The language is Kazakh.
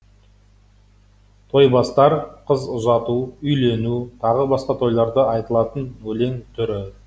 тойбастар қыз ұзату үйлену тағы басқа тойларда айтылатын өлең түрі